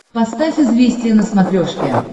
поставь известия на смотрешке